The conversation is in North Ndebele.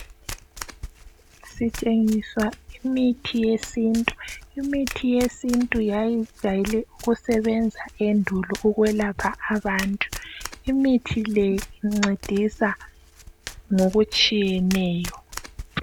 Sitshengiswa imithi yesintu, imithi yesintu yayijayele ukusebenza endulo ukwelapha abantu imithi le incedisa ngokutshiyeneyo.